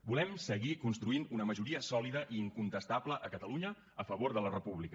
volem seguir construint una majoria sòlida i incontestable a catalunya a favor de la república